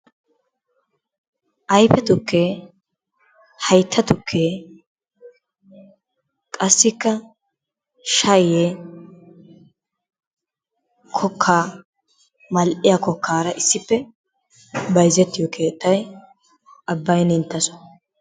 Ayfe tukkee, haytta tukkee qassikka shayyee kokkaa mal"iya kokkaara issippe bayzettiyo keettay Abbaynnenttasoo.